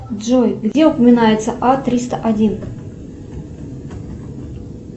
джой где упоминается а триста один